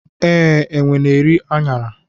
Ee, enwe na-eri aṅara.